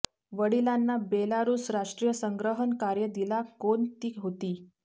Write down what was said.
वडिलांना बेलारूस राष्ट्रीय संग्रहण कार्य दिला कोण ती होती